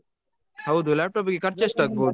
ಹೌದು laptop ಗೆ ಖರ್ಚು ಎಸ್ಟ್ ಆಗ್ಬಹುದು